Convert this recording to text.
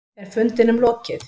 Er fundinum lokið?